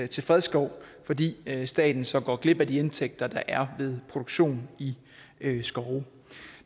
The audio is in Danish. til fredskov fordi staten så går glip af de indtægter der er ved produktion i skove